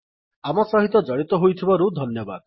ଆମ ସହିତ ଜଡ଼ିତ ହୋଇଥିବାରୁ ଧନ୍ୟବାଦ